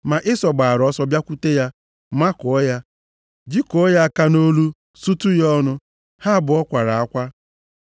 Ma Ịsọ gbaara ọsọ bịakwute ya, makụọ ya, jikụọ ya aka nʼolu, sutu ya ọnụ. Ha abụọ kwara akwa.